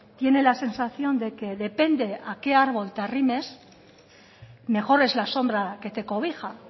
tiene la sensación de que depende a qué árbol te arrimes mejor es la sombra que te cobija